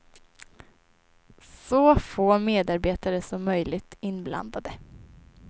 Så få medarbetare som möjligt inblandade.